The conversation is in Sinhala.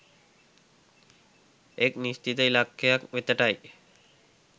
එක් නිශ්චිත ඉලක්කයක් වෙතට යි.